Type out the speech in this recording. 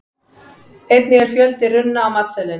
einnig er fjöldi runna á matseðlinum